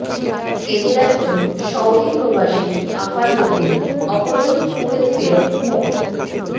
এদের একজন সৌদি প্রবাসী আফাজ উদ্দিন অপরজন কুয়েত ফেরত মো